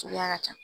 Suguya ka ca